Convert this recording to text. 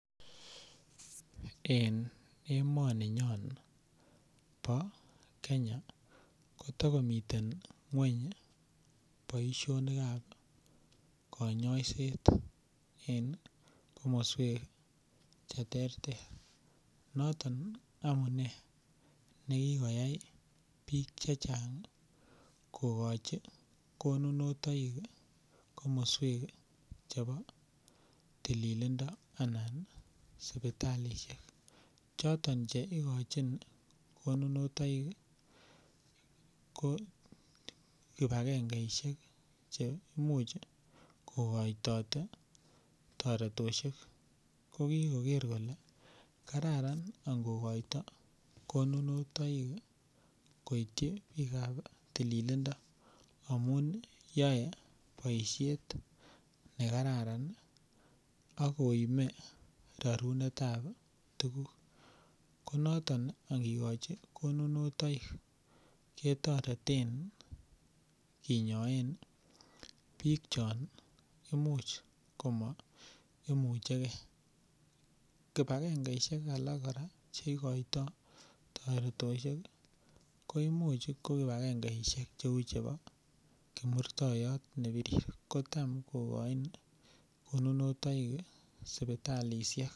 En emoninyon bo Kenya kotomiten ng'weny boishonikab kanyaiset en komoswek cheterter noton amune nikikoyai biik chechang' kokochin konunutoik komoswek chebo tililindo anan sipitalishek choto cheikochin konunutoik ko kipakengeishek che imuuch kokoitoi toretoshek kokikoker kole kararan angikoito konunutoik koityi biikab tililindo amu yoei boishet nekararan akoimei roritikab tukuk ko noton kakikochin konunutoik chetoretin konyonei biik cho imuuch komaimuchei kipakengeishek alak kora cheikoitoi toretoshek ko imuch ko kipakengeishek cheu chebo kimurtoiyot nebirir kotam kokoini konunutoik sipitalishek